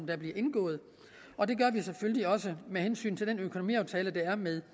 der bliver indgået og det gør vi selvfølgelig også med hensyn til den økonomiaftale der er med